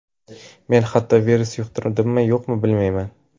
Men hatto virus yuqtirdimmi-yo‘qmi, bilmayman.